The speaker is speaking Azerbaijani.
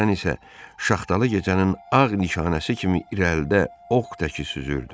Dovşan isə şaxtalı gecənin ağ nişanəsi kimi irəlidə ox təki süzürdü.